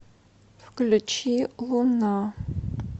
включи луна